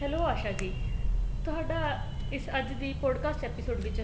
hello Asha ji ਤੁਹਾਡਾ ਇਸ ਅੱਜ ਦੀ broadcast episode ਵਿੱਚ